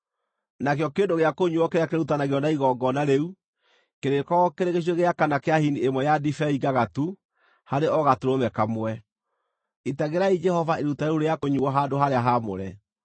Nakĩo kĩndũ gĩa kũnyuuo kĩrĩa kĩrĩrutanagĩrio na igongona rĩu kĩrĩkoragwo kĩrĩ gĩcunjĩ gĩa kana kĩa hini ĩmwe ya ndibei ngagatu harĩ o gatũrũme kamwe. Itagĩrai Jehova iruta rĩu rĩa kũnyuuo handũ-harĩa-haamũre.